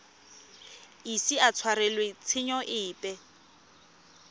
ise a tshwarelwe tshenyo epe